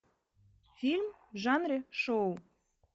фильм в жанре шоу